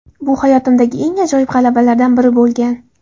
Bu hayotimdagi eng ajoyib g‘alabalardan biri bo‘lgan.